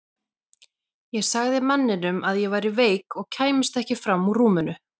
Ég sagði manninum að ég væri veik og kæmist ekki fram úr rúminu.